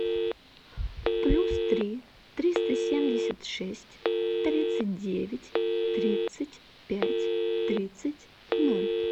плюс три триста семьдесят шесть тридцать девять тридцать пять тридцать ноль